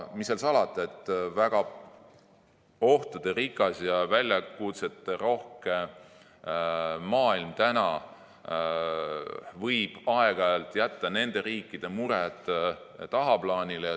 Mis seal salata, väga ohtuderikas ja väljakutseterohke maailm võib aeg-ajalt jätta nende riikide mured tagaplaanile.